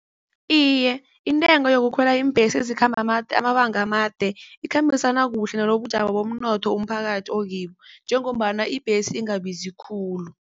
Iye, intengo yokukhwela iimbhesi ezikhamba amabanga amade ikhambisana kuhle nalobubujamo bomnotho umphakathi okibo, njengombana ibhesi ingabizi khulu.